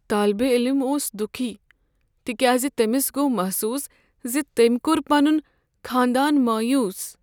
طٲلبہ علم اوس دکھی تکیازِ تٔمس گوٚو محسوس زِ تٔمۍ کوٚر پنن خاندان مایوٗس۔